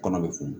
Kɔnɔ be fumu